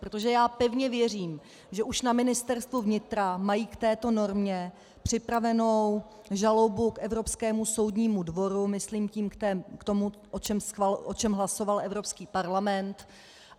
Protože já pevně věřím, že už na Ministerstvu vnitra mají k této normě připravenu žalobu k Evropskému soudnímu dvoru, myslím tím k tomu, o čem hlasoval Evropský parlament.